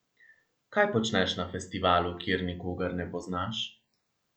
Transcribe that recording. Kaj počneš na festivalu, kjer nikogar ne poznaš?